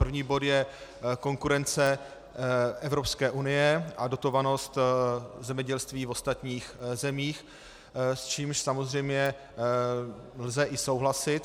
První bod je konkurence Evropské unie a dotovanost zemědělství v ostatních zemích, s čímž samozřejmě lze i souhlasit.